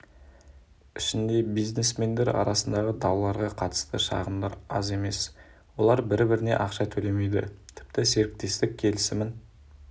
ішінде бизнесмендер арасындағы дауларға қатысты шағымдар аз емес олар бір-біріне ақша төлемейді тіпті серіктестік келісімін